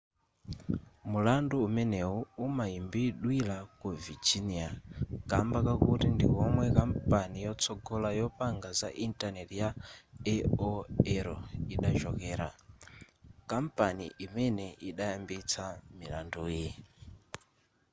mulandu umeneyu umayimbidwira ku virginia kamba kakuti ndikomwe kampani yotsogola yopanga za intaneti ya aol idachokera kampani imene idayambitsa milanduyi